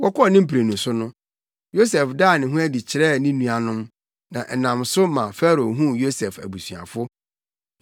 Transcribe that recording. Wɔkɔɔ ne mprenu so no, Yosef daa ne ho adi kyerɛɛ ne nuanom, na ɛnam so ma Farao huu Yosef abusuafo.